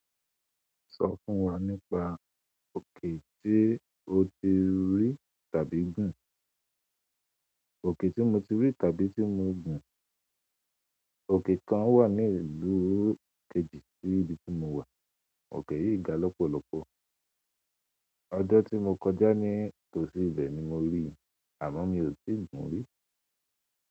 Sọ fún wa nípa òkè tí o ti rí tàbí gun. Òkè tí mo tí rí tàbí tí mo gun. Òkè kan wà ní ìlú kejì sí ibi tí mo wà. Òkè yìí ga lọ́pọ̀lọpọ̀. Ọjọ́ tí mo kọjá ní tòsí ibẹ̀ ni mo ríi, àmọ́ mi ò tíì gun rí.